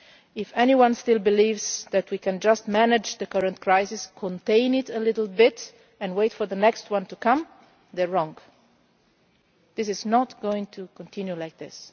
warning. If anyone still believes that we can just manage the current crisis, contain it a little bit and wait for the next one, they are wrong. This is not going to continue like